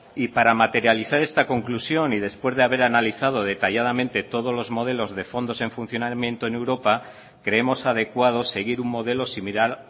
y para materializar esta conclusión y después de haber analizado detalladamente todos los modelos de fondos en funcionamiento en europa creemos adecuado seguir un modelo similar